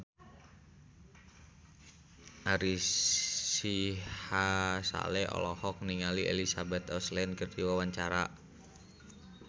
Ari Sihasale olohok ningali Elizabeth Olsen keur diwawancara